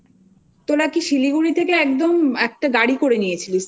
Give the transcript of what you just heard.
তোরা কি শিলিগুড়ি থেকে একদম একটা গাড়ি করে